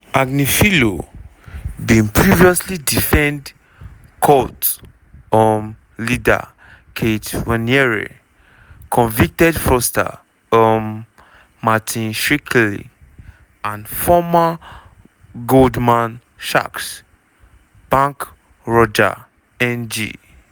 agnifilo bin previously defend cult um leader keith raniere convicted fraudster um martin shkreli and former goldman sachs banker roger ng.